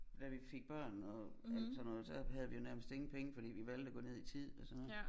Da vi fik børn og alt sådan noget så havde vi jo nærmest ingen penge fordi vi valgte at gå ned i tid og sådan oget